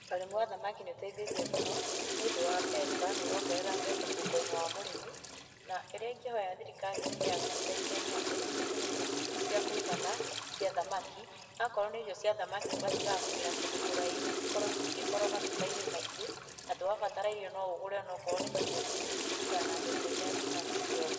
Ũrĩmi wa thamaki nĩũteithĩtie mũno, nĩũndũ wa mbeca, nĩũrongerera mbeca mũhuko-inĩ wa mũrĩmi, na kĩrĩa ingĩhoya thirikari ĩtuĩke ya gũtũteithia nĩ atĩ, ĩtũhe irio cia kũigana cia thamaki, akorwo nĩ ĩrio cĩa thamaki tũgatigaga kũgĩra kũndũ kũraihu cikorwo cigĩkorwo matuka-inĩ maingĩ, atĩ wabatara irio no ũgũre onokorwo nĩ tũirio tũnini, kũringana na mbeca iria wĩnacio.